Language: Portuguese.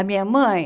A minha mãe,